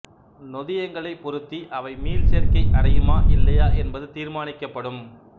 நொதியங்களைப் பொறுத்து அவை மீள்சேர்க்கை அடையுமா இல்லையா என்பது தீர்மானிக்கப்படும்